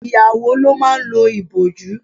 Ìyàwó ló máa ń lo ìbòjú.